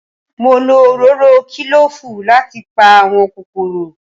Mo lo òróró kílòfù láti pa àwọn kòkòrò